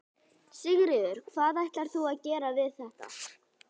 Sigurður: Hvað ætlarðu að gera við þetta?